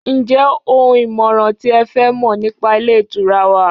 njé oun ìmọràn ti e fẹ Mọ nipa ilé ìtura wa